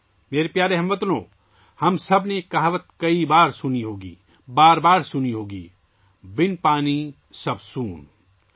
میرے پیارے ہم وطنو، ہم سب نے ایک کہاوت کئی بار سنی ہو گی، بار بار سنی ہو گی پانی کے بغیر سب کچھ ضائع ہو جاتا ہے